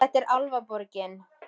Þetta er Álfaborgin.